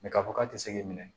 k'a fɔ k'a tɛ se k'i minɛ